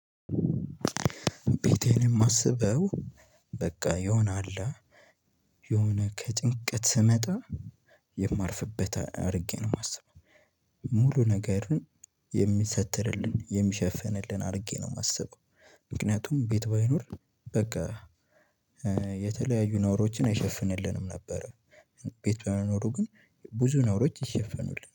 ቤቴን የማስበው በቃ የሆነ አላ የሆነ ከጭንቀት ስመጣ የማርፍበት አድርጌ ነው። የማስበው ሙሉ ነገርን የሚሰትርልን የሚሸፍንልን አድርጌ ነው። የማስበው ምክንያቱም ቤት ባይኖር በቃ የተለያዩ ነውሮችን አይሸፍንልንም ነበር። ቤት በመኖሩ ግን ብዙ ነውሮች ይሸፈኑልናል